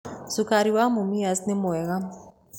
Cukari wa Mumias nĩ mwega.